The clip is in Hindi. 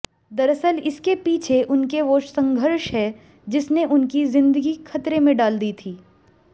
दरअसल इसके पीछे उनके वो संघर्ष हैं जिसने उनकी जिंदगी खतरे में डाल दी थी